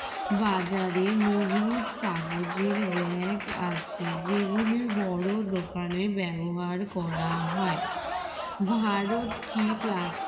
বাজারে মজুদ কাগজের bag আছে যেগুলি বড় দোকানে ব্যবহার করা হয় ভারত কি plas